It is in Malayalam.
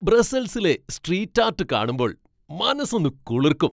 ബ്രസ്സൽസിലെ സ്ട്രീറ്റ് ആർട്ട് കാണുമ്പോൾ മനസ്സൊന്ന് കുളിർക്കും.